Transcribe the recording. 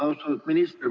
Austatud minister!